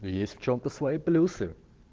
есть в чем-то свои плюсы